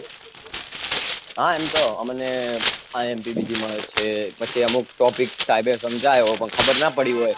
હા એમ તો અમને imp બીજી મલે છે પછી અમુક topic સાહેબ એ સમજાયો પણ ખબર ના પડી હોય